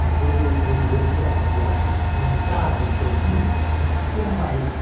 E quando, e eu me lembro que havia, na entrada de Campinas, uma pequena valeta.